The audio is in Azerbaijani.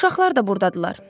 Uşaqlar da burdadırlar.